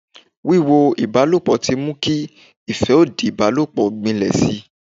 Wiwo ìbálòpọ̀ tí mú kí ìfẹ́ òdì ìbálòpọ̀ gbinlẹ̀ si.